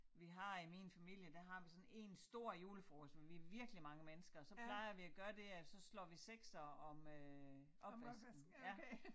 Vi har i min familie der har vi sådan én stor julefrokost hvor vi virkelig mange mennesker så plejer vi at gøre det at så slår vi seksere om øh opvasken